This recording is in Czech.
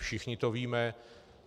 Všichni to víme.